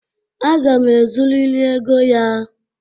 Aga m ezuriri ego ya.